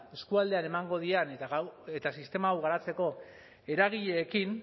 eskualdean emango dien eta sistema hau garatzeko eragileekin